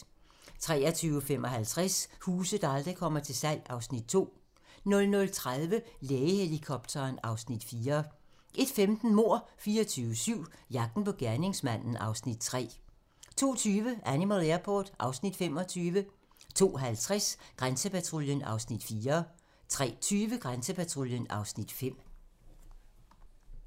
23:55: Huse, der aldrig kommer til salg (Afs. 2) 00:30: Lægehelikopteren (Afs. 4) 01:15: Mord 24/7 - jagten på gerningsmanden (Afs. 3) 02:20: Animal Airport (Afs. 25) 02:50: Grænsepatruljen (Afs. 4) 03:20: Grænsepatruljen (Afs. 5)